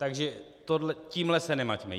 Takže tímhle se nemaťme.